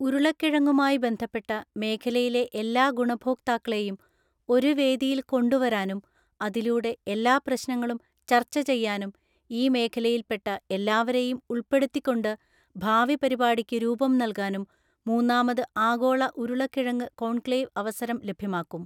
ഉരുളക്കിഴങ്ങുമായി ബന്ധപ്പെട്ട മേഖലയിലെ എല്ലാ ഗുണഭോക്താക്കളേയും ഒരു വേദിയില്‍ കൊണ്ടുവരാനും അതിലൂടെ എല്ലാ പ്രശ്നങ്ങളും ചർച്ച ചെയ്യാനും ഈ മേഖലയില്‍ പെട്ട എല്ലാവരെയും ഉൾപ്പെടുത്തിക്കൊണ്ട് ഭാവി പരിപാടിക്കു രൂപം നൽകാനും മൂന്നാമത് ആഗോള ഉരുളക്കിഴങ്ങ് കോണ്‍ക്ലേവ് അവസരം ലഭ്യമാക്കും.